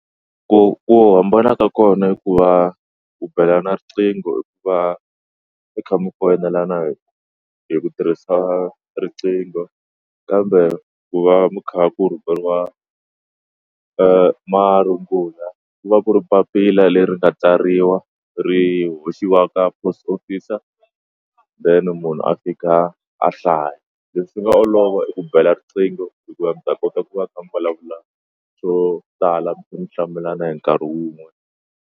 Ku ku hambana ka kona i ku va ku belana riqingho hi ku va mi kha mi foyinela na yona hi ku tirhisa riqingho kambe ku va ku kha ku rhumeriwa marungula ku va ku ri papila leri nga tsariwa ri hoxiwa ka post officer then munhu a fika a hlaya leswi nga olova i ku bela riqingho hikuva mi ta kota ku va mi kha mi vulavula swo tala mihlamulana hi nkarhi wun'we.